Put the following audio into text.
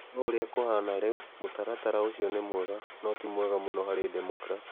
No ũrĩa kũhaana rĩu, mũtaratara ũcio nĩ mwega, no ti mwega mũno harĩ Democrats.